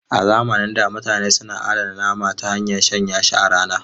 A zamanin da mutane suna adana nama ta hanyar shanya shi a rana.